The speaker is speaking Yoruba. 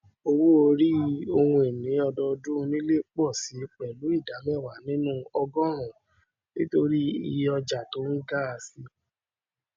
owóòrí ohunini ọdọdún onílẹ pọ síi pẹlú ìdá mẹwàá nínú ọgọọrún nítorí ìye ọjà tó ń ga síi